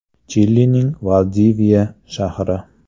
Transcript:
Chilining Valdiviya shahri.